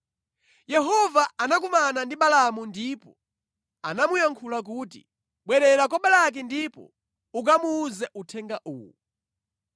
Yehova anakumana ndi Balaamu ndipo anamuyankhula kuti, “Bwerera kwa Balaki ndipo ukamuwuze uthenga uwu.”